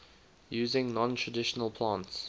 using non traditional plants